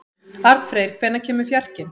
Arnfreyr, hvenær kemur fjarkinn?